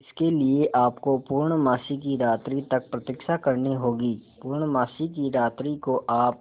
इसके लिए आपको पूर्णमासी की रात्रि तक प्रतीक्षा करनी होगी पूर्णमासी की रात्रि को आप